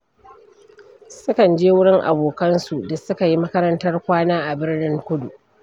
Sukan je wurin abokansu da suka yi makarantar kwana a Birnin Kudu.